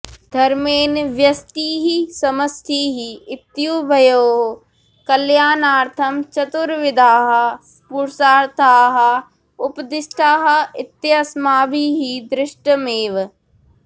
धर्मेण व्यष्टिः समष्टिः इत्युभयोः कल्याणार्थं चतुर्विधाः पुरुषार्थाः उपदिष्टाः इत्यस्माभिः दृष्टमेव